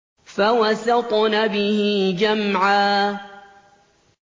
فَوَسَطْنَ بِهِ جَمْعًا